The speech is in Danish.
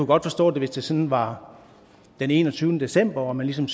godt forstå det hvis det sådan var den enogtyvende december og man ligesom